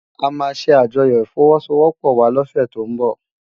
Ámá sé ájòyò ifòwòsówòpò wá lòsè tó n bò